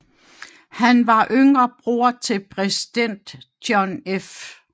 Han var yngre bror til præsident John F